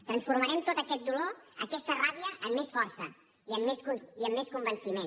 transformarem tot aquest dolor aquesta ràbia en més força i en més convenciment